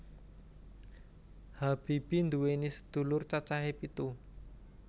Habibie nduwèni sedulur cacahe pitu